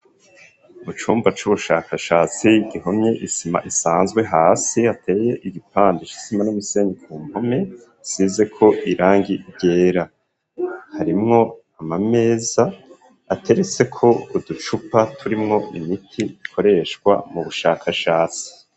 Mu cumba c'ubushakashatsi gihomye isima isanzwe hasi hateye igipande c'isima n'umisenyi ku mpome hasizeko irangi ryera harimwo amameza ateretse ko uducupa turimwo imiti ikoreshwa mu bushakashatsi